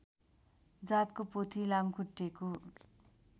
जातको पोथी लामखुट्टेको